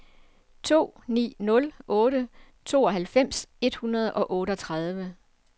to ni nul otte tooghalvfems et hundrede og otteogtredive